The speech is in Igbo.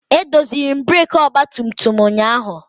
Edoziri m breekị ọgbatumtum m. ụnyaahụ